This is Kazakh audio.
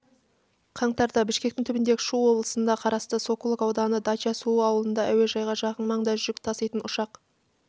қаңтарда бішкектің түбіндегі шу облысына қарасты сокулук ауданы дача-суу ауылында әуежайға жақын маңда жүк таситын ұшақ